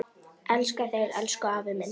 Elska þig, elsku afi minn.